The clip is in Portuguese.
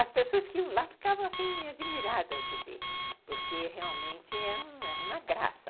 As pessoas que iam lá ficavam assim, admiradas de ver, porque realmente é uma graça.